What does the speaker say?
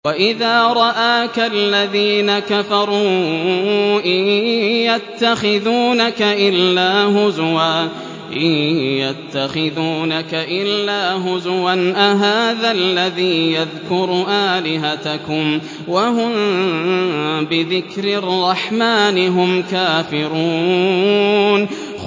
وَإِذَا رَآكَ الَّذِينَ كَفَرُوا إِن يَتَّخِذُونَكَ إِلَّا هُزُوًا أَهَٰذَا الَّذِي يَذْكُرُ آلِهَتَكُمْ وَهُم بِذِكْرِ الرَّحْمَٰنِ هُمْ كَافِرُونَ